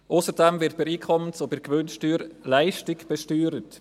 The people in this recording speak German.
Ausserdem wird bei der Einkommens- und Gewinnsteuer Leistung besteuert.